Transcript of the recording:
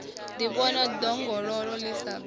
ḓivhona ḓongololo ḽi sa bvi